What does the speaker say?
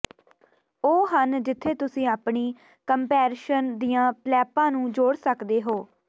ਉਹ ਹਨ ਜਿੱਥੇ ਤੁਸੀਂ ਆਪਣੀ ਕੰਪਰੈਸ਼ਨ ਦੀਆਂ ਪਲੈਪਾਂ ਨੂੰ ਜੋੜ ਸਕਦੇ ਹੋ